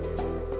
og